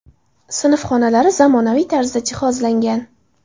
Sinf xonalari zamonaviy tarzda jihozlangan.